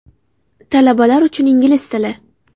Talabalar uchun ingliz tili.